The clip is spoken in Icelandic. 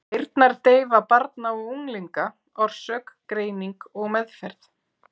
Heyrnardeyfa barna og unglinga, orsök, greining og meðferð.